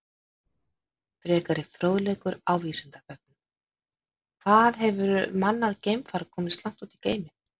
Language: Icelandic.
Frekari fróðleikur á Vísindavefnum: Hvað hefur mannað geimfar komist langt út í geiminn?